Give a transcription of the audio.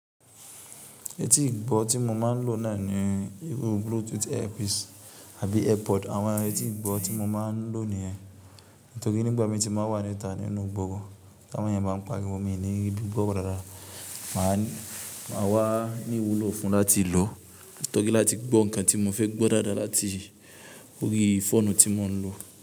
Etí ìgbọ́ tí mo máa ń lò náà ní irú Bluetooth earpiece àbí AirPod. Àwọn etí ìgbọ́ tí mo máa ń lò nìyẹn. Nítorí nígbà mi tí mo bá wà ní ìta nínú gbogbo, t'àwọn èèyàn bá ń pariwo mi ni ribí gbọ́rọ̀ dáadáa, mà á wá ní ìwúlò fún láti lò. Torí láti gbọ́ nǹkan tí mo fẹ́ gbọ́ dáadáa láti orí fóònù tí mo ń lò.